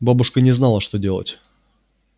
бабушка не знала что делать